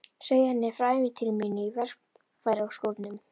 Segi henni frá ævintýri mínu í verkfæraskúrnum.